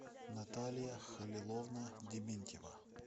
наталья халиловна дементьева